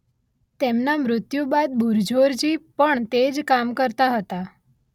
તેમના મૃત્યુ બાદ બુરઝોરજી પણ તે જ કામ કરતા હતા.